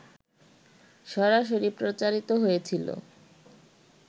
সরাসরি প্রচারিত হয়েছিল